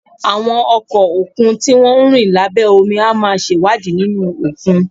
Àwọn ọkọ̀ òkun tí wọ́n ń rìn lábẹ́ omi á máa ṣèwádìí nínú òkun